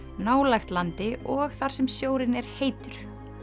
nálægt landi og þar sem sjórinn er heitur